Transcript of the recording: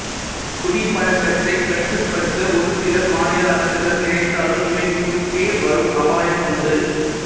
குடிப்பழக்கத்தைக் கட்டுப்படுத்த ஒரு சில மாநில அரசுகள் நினைத்தாலும் இவை குறுக்கே வரும் அபாயம் உண்டு